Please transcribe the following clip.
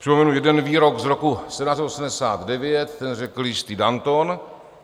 Připomenu jeden výrok z roku 1789, ten řekl jistý Danton.